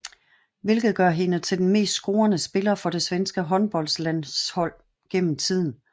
Hvilket gør hende til den mest scorende spiller for det svenske håndboldlandshold gennemtiden